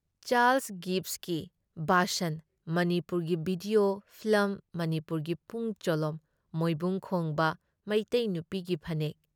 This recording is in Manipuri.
ꯆꯥꯔꯜꯁ ꯒꯤꯚꯁꯀꯤ ꯚꯥꯁꯟ, ꯃꯅꯤꯄꯨꯔꯒꯤ ꯚꯤꯗꯑꯣ ꯐꯤꯂꯝ, ꯃꯅꯤꯄꯨꯔꯒꯤ ꯄꯨꯡ ꯆꯣꯂꯣꯝ ꯃꯣꯏꯕꯨꯡ ꯈꯣꯡꯕ, ꯃꯩꯇꯩ ꯅꯨꯄꯤꯒꯤ ꯐꯅꯦꯛ